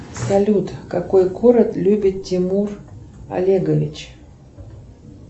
салют какой город любит тимур олегович